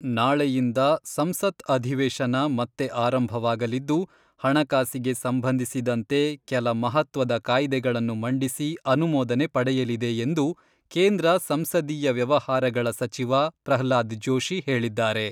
ನಾಳೆಯಿಂದ ಸಂಸತ್ ಅಧಿವೇಶನ ಮತ್ತೆ ಆರಂಭವಾಗಲಿದ್ದು ಹಣಕಾಸಿಗೆ ಸಂಬಂಧಿಸಿದಂತೆ ಕೆಲ ಮಹತ್ವದ ಕಾಯ್ದೆಗಳನ್ನು ಮಂಡಿಸಿ ಅನುಮೋದನೆ ಪಡೆಯಲಿದೆ ಎಂದು ಕೇಂದ್ರ ಸಂಸದೀಯ ವ್ಯವಹಾರಗಳ ಸಚಿವ ಪ್ರಹ್ಲಾದ್ ಜೋಶಿ ಹೇಳಿದ್ದಾರೆ.